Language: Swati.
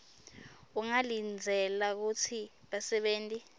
ungalindzela kutsi basebenti